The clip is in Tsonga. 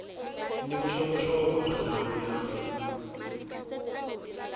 ni vuxokoxoko bya ndhawu ya